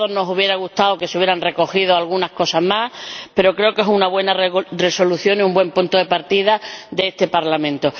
A todos nos habría gustado que se hubieran recogido algunas cosas más, pero creo que es una buena propuesta de Resolución y un buen punto de partida de este Parlamento.